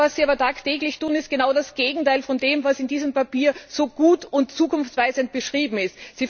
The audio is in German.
Das aber, was Sie tagtäglich tun, ist genau das Gegenteil von dem, was in diesem Papier so gut und zukunftsweisend beschrieben ist.